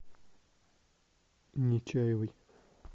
нечаевой